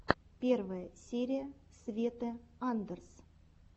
первая серия светы сандерс